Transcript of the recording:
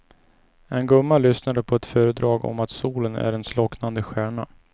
En gumma lyssnade på ett föredrag om att solen är en slocknande stjärna.